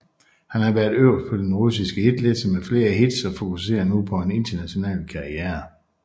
Han har været øverst på den russiske hitliste med flere hits og fokuserer nu på en international karriere